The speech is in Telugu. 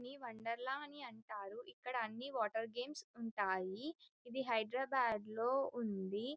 దీన్ని వన్డేర్ల అని అంటారు ఇందులో వాటర్ గేమ్స్ ఉంటాయి ఇది హైదరాబాద్ లో ఉంది.